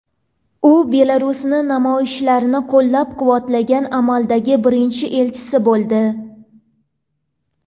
U Belarusning namoyishlarni qo‘llab-quvvatlagan amaldagi birinchi elchisi bo‘ldi.